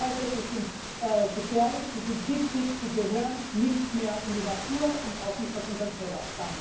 Wir wissen heute Sie sind gefährlich, sie sind giftig, sie gehören nicht mehr in die Natur und auch nicht auf unseren Teller.